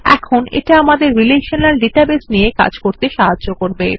এখন এটা আমাদের রিলেশনাল ডেটাবেস নিয়ে কাজ করতে সাহায্য করবে